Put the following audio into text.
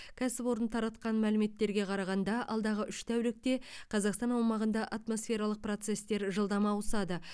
кәсіпорын таратқан мәліметтерге қарағанда алдағы үш тәулікте қазақстан аумағында атмосфералық процестер жылдам ауысады